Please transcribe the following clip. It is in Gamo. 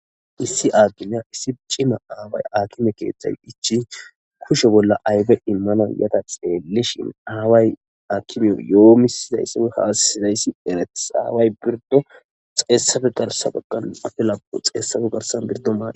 issi aakimiya issi cima aaway akime keeththay ichi kushe bolla aybe immana yata xeellishin aaway akimeyo yoo misizayssa haassizayssi eretis aaway birdo xeessafe darsa baggan afe lapu xeessafe garsan birdo maan